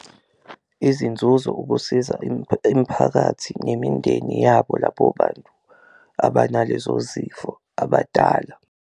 Izinzuzo ukusiza imphakathi nemindeni yabo lapho abanalezo zifo abadala.